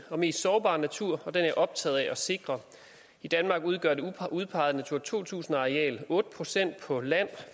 og mest sårbare natur og den er jeg optaget af at sikre i danmark udgør det udpegede natura to tusind areal otte procent på land